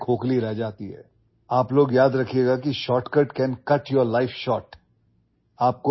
মনত ৰাখিব যে শ্বৰ্টকাটে আপোনালোকৰ জীৱন চুটি কৰিব পাৰে অৰ্থাৎ শ্বৰ্টকাটে আপোনালোকৰ জীৱন চুটি কৰিব পাৰে